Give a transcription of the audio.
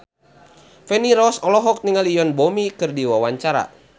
Feni Rose olohok ningali Yoon Bomi keur diwawancara